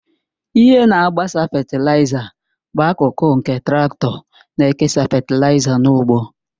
Ihe na-agbasa fetịlaịza bụ akụkụ nke traktọ na-ekesa fetịlaịza n'ugbo